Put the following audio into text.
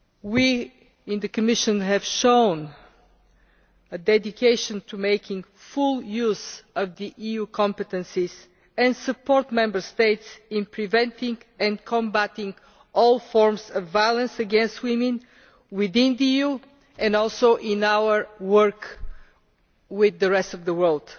We in the Commission have shown a dedication to making full use of the EU competences and supporting the Member States in preventing and combating all forms of violence against women within the EU, and also in our work with the rest of the world.